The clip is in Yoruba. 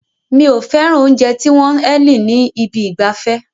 Mi ò fẹ́ràn oúnjẹ tí wọ́n ń eliing ní ibi ìgbafẹ́.